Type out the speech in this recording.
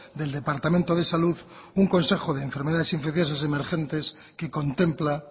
del departamento de salud un consejo de enfermedades infecciosas emergentes que contempla